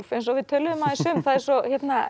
eins og við töluðum aðeins um það er svo